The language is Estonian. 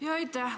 Aitäh!